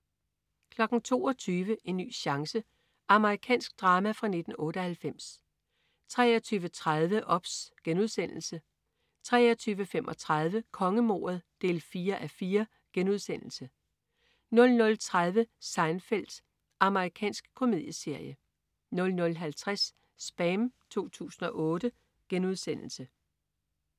22.00 En ny chance. Amerikansk drama fra 1998 23.30 OBS* 23.35 Kongemordet 4:4* 00.30 Seinfeld. Amerikansk komedieserie 00.50 SPAM 2008*